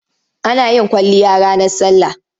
Ana yin kwalliya ranar sallah.